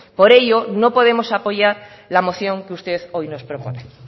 por ello no podemos apoyar la moción que usted hoy nos propone